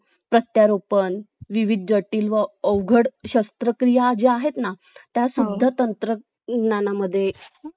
त्याची safety पण पाहायला पाहिजे ना Guard कसे पाहिजे काय पाहिजे कारण पोर वापरतात न पाडलं नि फो फुटलं ते आपणच ना